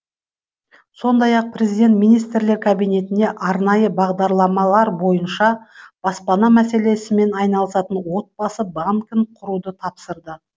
сондай ақ президент министрлер кабинетіне арнайы бағдарламалар бойынша баспана мәселесімен айналысатын отбасы банкін құруды тапсырды